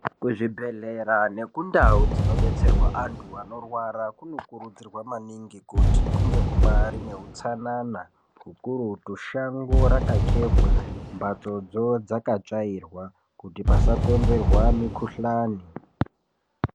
Kuzvibhedhlera nekundau dzinodetserwa antu anorwara kunokurudzirwa maningi kuti kunge kubaari kune utsanana ukurutu, shango rakachekwa, mhatsodzo dzakatsvairwa kuti pasakonzerwa mikhuhlani.